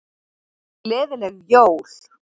Gleðileg jól!